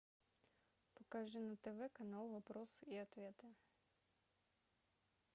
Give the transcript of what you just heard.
покажи на тв канал вопросы и ответы